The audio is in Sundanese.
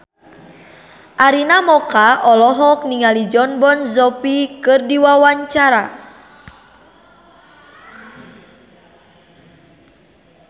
Arina Mocca olohok ningali Jon Bon Jovi keur diwawancara